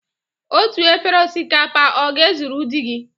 Otu efere osikapa ọ ga-ezuru di gị?